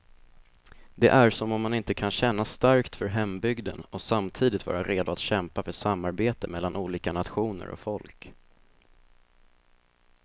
Det är som om man inte kan känna starkt för hembygden och samtidigt vara redo att kämpa för samarbete mellan olika nationer och folk.